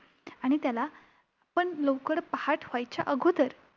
आणि त्याला पण लवकर पहाट व्हायच्या अगोदर.